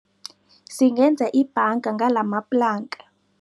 Singenza ibhanga ngalamaplanka.